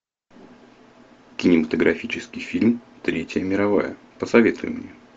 кинематографический фильм третья мировая посоветуй мне